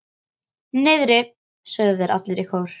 Niðri, sögðu þeir allir í kór.